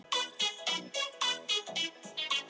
Og brunnið þar til ösku, hélt Sveinbjörn.